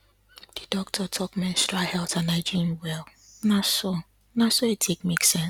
the doctor talk menstrual health and hygiene well na so na so e take make sense